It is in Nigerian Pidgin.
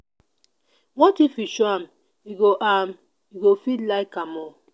what if you show am e go am e go fit like am oo